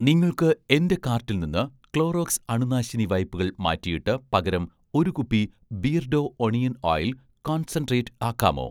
നിങ്ങൾക്ക് എന്‍റെ കാർട്ടിൽ നിന്ന് 'ക്ലോറോക്സ്' അണുനാശിനി വൈപ്പുകൾ മാറ്റിയിട്ട് പകരം ഒരു കുപ്പി 'ബിയർഡോ' ഒണിയൻ ഓയിൽ കോൺസെൻട്രേറ്റ് ആക്കാമോ?